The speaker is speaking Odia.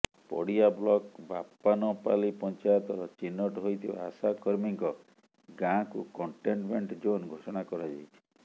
ପଡିଆ ବ୍ଲକ ବାପାନପାଲି ପଚାଂୟତର ଚିହ୍ନଟ ହୋଇଥିବା ଆଶାକର୍ମୀ ଙ୍କ ଗାଁ କୁ କଟେଂନମେଟଂ ଜୋନ ଘୋଷଣା କରାଯାଇଛି